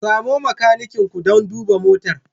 Samo makanikin ku don duba motar.